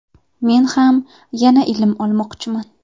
Men ham yana ilm olmoqchiman.